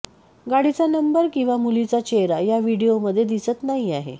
गाडीचा नंबर किंवा मुलीचा चेहरा या व्हिडीओमध्ये दिसत नाही आहे